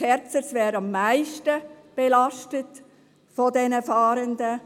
Kerzers wäre am meisten belastet von diesen Fahrenden.